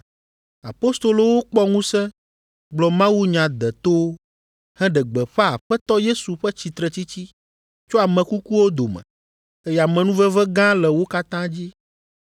Apostolowo kpɔ ŋusẽ gblɔ mawunya detowo, heɖe gbeƒã Aƒetɔ Yesu ƒe tsitretsitsi tso ame kukuwo dome, eye amenuveve gã le wo katã dzi.